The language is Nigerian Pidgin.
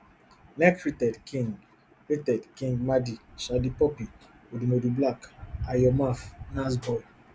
next rated qing rated qing madi shallipopi odumodublvck ayo maff nasboi